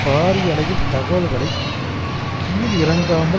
பாரியளவில் தகவல்களை கீழ் இறக்காமல்